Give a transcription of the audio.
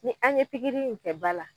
Ni an ye pikiri in kɛ ba la,